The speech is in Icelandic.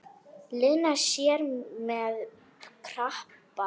Lena sé með krabba.